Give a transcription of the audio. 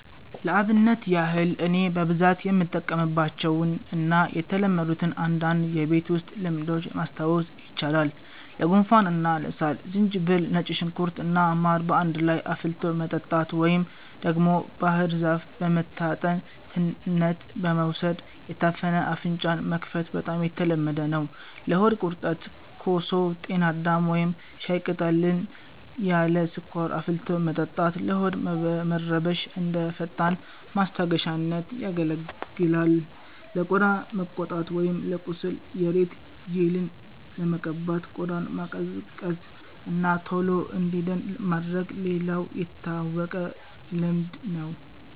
ለአብነት ያህል እኔ በብዛት የምጠቀምባቸውን እና የተለመዱትን አንዳንድ የቤት ውስጥ ልምዶች ማስታወስ ይቻላል፦ ለጉንፋን እና ለሳል፦ ዝንጅብል፣ ነጭ ሽንኩርት እና ማር በአንድ ላይ አፍልቶ መጠጣት፣ ወይም ደግሞ ባህር ዛፍ በመታጠን ትነት በመውሰድ የታፈነ አፍንጫን መክፈት በጣም የተለመደ ነው። ለሆድ ቁርጠት፦ ኮሶ፣ ጤና አዳም ወይም ሻይ ቅጠልን ያለ ስኳር አፍልቶ መጠጣት ለሆድ መረበሽ እንደ ፈጣን ማስታገሻነት ያገለግላል። ለቆዳ መቆጣት ወይም ለቁስል፦ የሬት ጄልን በመቀባት ቆዳን ማቀዝቀዝ እና ቶሎ እንዲድን ማድረግ ሌላው የታወቀ ልምድ ነው።